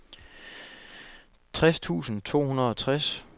tres tusind to hundrede og tres